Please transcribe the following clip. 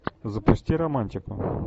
запусти романтику